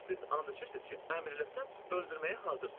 Siz and içirsiniz ki, əmr eləsəm öldürməyə hazırsız.